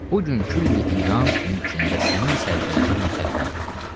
Bu gün külli İran mülkündə sənin səltənətin müsəlləmdir.